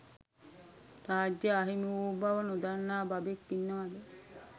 රාජ්‍යය අහිමි වූ බව නොදන්න බබෙක් ඉන්නවද?